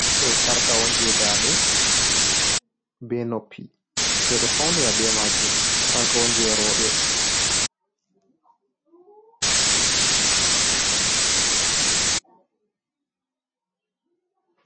Do sarka, on je ndade be noppi bedo faunira be majum sarka, onjerobe.